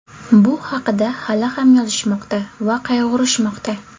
Bu haqida hali ham yozishmoqda va qayg‘urishmoqda.